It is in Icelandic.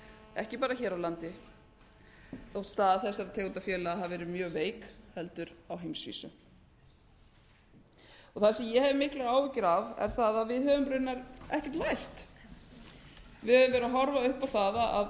ekki bara hér á landi þótt þessar tegundir félaga hafi verið mjög veik heldur á heimsvísu það sem ég hef miklar áhyggjur af er það að við höfum raunar ekkert lært við höfum verið að horfa upp á